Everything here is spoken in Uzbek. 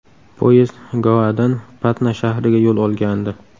Poyezd Goadan Patna shahriga yo‘l olgandi.